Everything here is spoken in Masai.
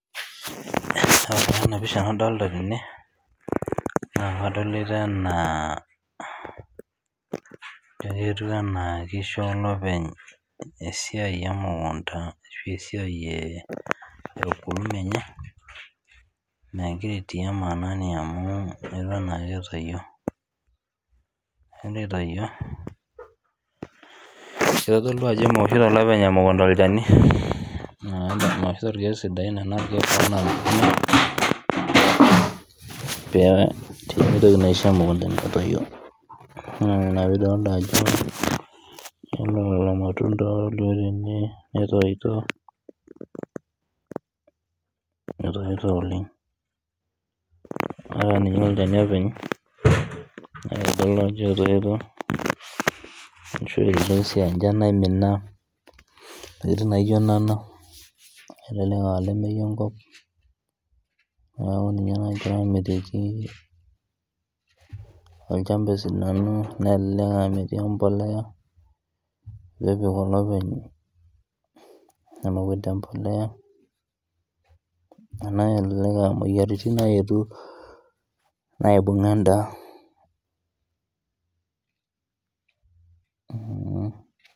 Ore taa ena pisha nadolita tene naa kadolita enaa etieu ena kisho olopeny esiai emukunda ashu esiai ee ukulima enye megira aitia mahanani amu Eton ake etoyio kitodolu Ajo meoshiyo olopeny emukunda irkeek sidain pee mitoki naa aishoo emukunda enye metoyio naa pee atodua irmatunda kidolita tene netoito oleng ataa ninye olchani openy etoyia ashu enchan naimina ntokitin naijio Nena kelelek aa olamei enkop neeku ninye nagira amitiki olchamba esidanu nilelek aa metii embolea nepik olopeny emukunda embolea elelek aa moyiaritin nayetuo naibung'a endaa